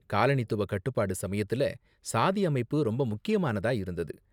காலனித்துவ கட்டுப்பாடு சமயத்துல, சாதி அமைப்பு ரொம்ப முக்கியமானதா இருந்தது.